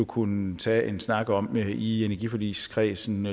kunne tage en snak om i energiforligskredsen